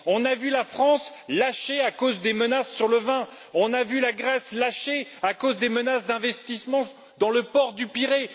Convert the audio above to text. Nous avons vu la France lâcher à cause des menaces sur le vin, et la Grèce, à cause des menaces d'investissement dans le port du Pirée.